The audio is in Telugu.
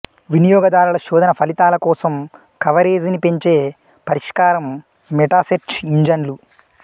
వినియోగదారుల శోధన ఫలితాల కోసం కవరేజీని పెంచే పరిష్కారం మెటాసెర్చ్ ఇంజన్లు